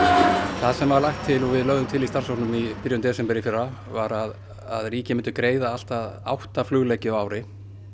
það sem var lagt til og við lögðum til í starfshópnum í byrjun desember í fyrra var að ríkið myndi greiða allt að átta flugleggi á ári